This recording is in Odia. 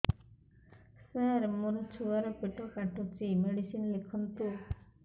ସାର ମୋର ଛୁଆ ର ପେଟ କାଟୁଚି ମେଡିସିନ ଲେଖନ୍ତୁ